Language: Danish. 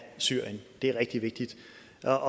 der